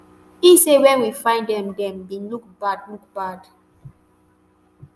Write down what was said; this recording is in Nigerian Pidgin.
e say wen we find dem dem bin look bad look bad